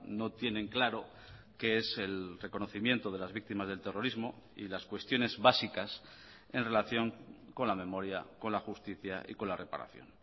no tienen claro qué es el reconocimiento de las víctimas del terrorismo y las cuestiones básicas en relación con la memoria con la justicia y con la reparación